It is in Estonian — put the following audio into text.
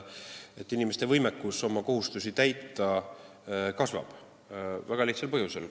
Inimeste võimekus oma kohustusi täita kasvab väga lihtsatel põhjustel.